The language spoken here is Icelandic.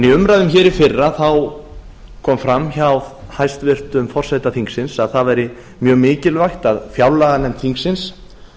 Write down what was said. í umræðum hér í fyrra kom fram hjá hæstvirtum forseta þingsins að það væri mjög mikilvægt að fjárlaganefnd þingsins